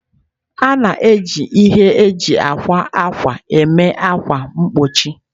A na-eji ihe eji akwa ákwà mee ákwà mgbochi.